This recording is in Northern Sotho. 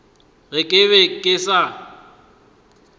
ge ke be ke sa